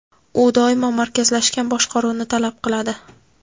u doimo markazlashgan boshqaruvni talab qiladi.